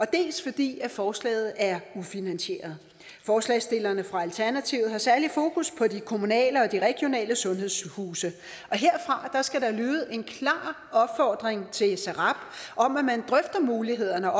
dels fordi forslaget er ufinansieret forslagsstillerne fra alternativet har særlig fokus på de kommunale og de regionale sundhedshuse herfra skal der lyde en klar opfordring til srab om at man drøfter mulighederne